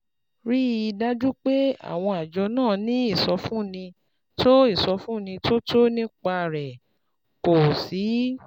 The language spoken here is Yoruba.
Rí i dájú pé àwọn àjọ náà ní ìsọfúnni tó ìsọfúnni tó tọ́ nípa rẹ, kó o sì